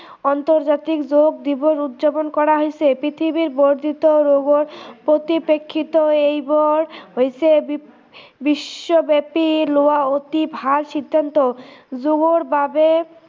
আন্তৰ্জাতিক যোগ দিৱস উদযাপন কৰা হৈছে পৃথিৱীৰ বৰ্দ্ধিত ৰোগৰ পৰিপ্ৰেক্ষিতত এইবোৰ হৈছে বিশ্ৱব্য়াপি লোৱা অতি ভাল সিদ্ধান্ত, যোগৰ বাবে